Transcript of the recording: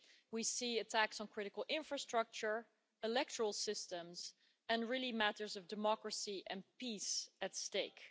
We see attacks on critical infrastructure, electoral systems, and really matters of democracy and peace at stake.